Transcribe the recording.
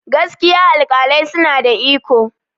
gaskiya alƙalai suna da iko